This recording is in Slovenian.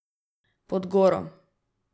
Pod goro.